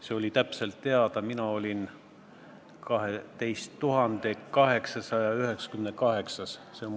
See oli täpselt teada, mina olin 12 898. töötaja.